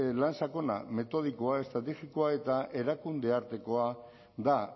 lan sakona metodikoa eta estrategikoa eta erakunde artekoa da